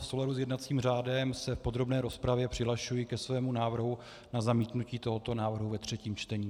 V souladu s jednacím řádem se v podrobné rozpravě přihlašuji ke svému návrhu na zamítnutí tohoto návrhu ve třetím čtení.